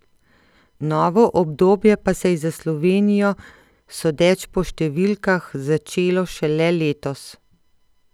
Novo obdobje pa se je za Slovenijo, sodeč po številkah, začelo šele letos.